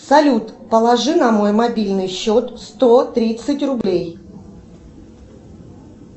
салют положи на мой мобильный счет сто тридцать рублей